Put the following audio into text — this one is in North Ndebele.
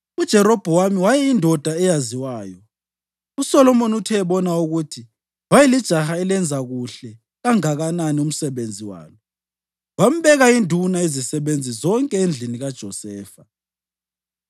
UJerobhowamu wayeyindoda eyaziwayo, uSolomoni uthe ebona ukuthi wayelijaha elenza kuhle kanganani umsebenzi walo, wambeka induna yezisebenzi zonke endlini kaJosefa.